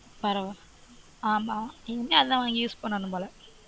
ஆமா இங்க அதான் வாங்கி use பண்ணனும் போல பரவால்ல